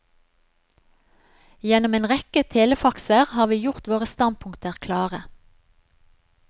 Gjennom en rekke telefaxer har vi gjort våre standpunkter klare.